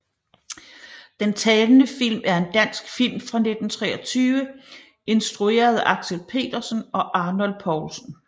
Den talende film er en dansk film fra 1923 instrueret af Axel Petersen og Arnold Poulsen